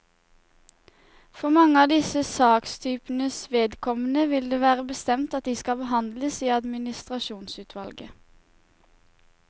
For mange av disse sakstypenes vedkommende vil det være bestemt at de skal behandles i administrasjonsutvalget.